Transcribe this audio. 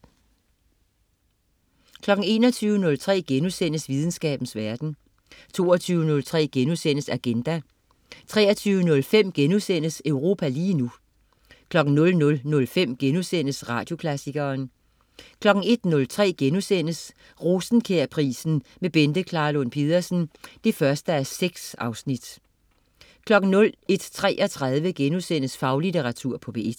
21.03 Videnskabens verden* 22.03 Agenda* 23.05 Europa lige nu* 00.05 Radioklassikeren* 01.03 Rosenkjærprisen med Bente Klarlund Pedersen 1:6* 01.33 Faglitteratur på P1*